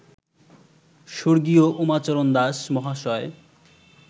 স্বর্গীয় উমাচরণ দাস মহাশয়